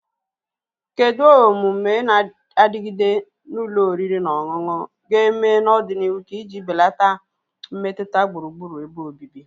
Kedu omume na-adigide na ụlọ oriri na ọṅụṅụ ga-eme n'ọdịnihu iji belata mmetụta gburugburu ebe obibi?